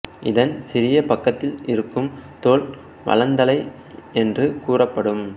இதன் சிறிய பக்கத்தில் இருக்கும் தோல் வளந்தலை என்று கூறப்படும்